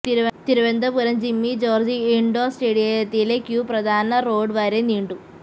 Thiruvananthapuram Jimmy George indoor സ്റ്റേഡിയത്തിലെ queue പ്രധാന road വരെ നീണ്ടു